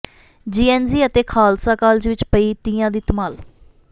GNG ਅਤੇ Khalsa college ਵਿੱਚ ਪਈ ਤੀਆਂ ਦੀ ਧਮਾਲ